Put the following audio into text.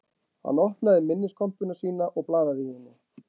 Hann opnaði minniskompuna sína og blaðaði í henni